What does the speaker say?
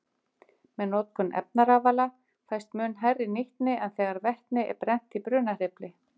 Með notkun efnarafala fæst mun hærri nýtni en þegar vetni er brennt í brunahreyfli.